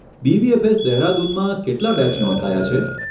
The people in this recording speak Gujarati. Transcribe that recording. બીબીએફએસ દેહરાદૂનમાં કેટલાં બેચ નોંધાયા છે?